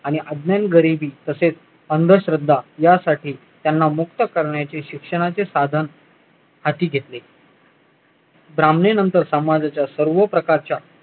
आणि अज्ञान गरिबी तसेच अंधश्रद्धा यासाठी त्यांना मुक्त करण्याच्या शिक्षणाचे साधन हाती घेतले ब्राह्मणीनंतर समाजाच्या सर्व प्रकारच्या